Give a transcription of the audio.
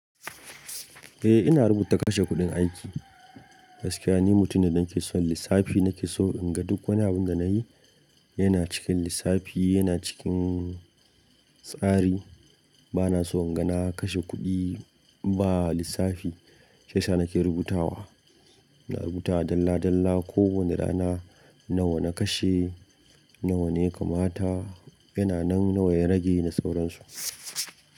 Eh ina rubuta kashe kuɗin aiki. Gaskiya ni mutum ne da nake son lissafi, nake so in ga duk wani abun da na yi yana cikin lissafi, yana cikin tsari. Bana so in ga na kashe kuɗi ba lissafi. Sai sa nake rubutawa. Na rubuta dalla dalla ko wane rana nawa na kashe, nawa ne ya kamata, yana nan nawa ya rage na sauransu.